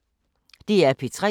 DR P3